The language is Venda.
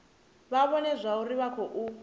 vha vhone zwauri vha khou